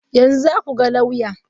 Yanzu za ku ga lauya?